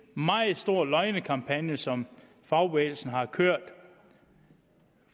meget stor løgnekampagne som fagbevægelsen har kørt